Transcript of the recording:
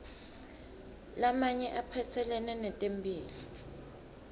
lamanye aphatselene netempihlo